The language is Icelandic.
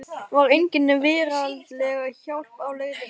Var engin veraldleg hjálp á leiðinni?